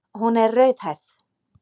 Hún er rauðhærð.